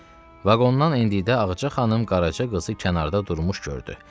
Vaqondan endikdə Ağca xanım Qaraca qızı kənarda durmuş gördü.